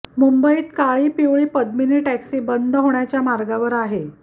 मुंबईत काळी पिवळी पद्मीनी टॅक्सी बंद होण्याच्या मार्गावर आहे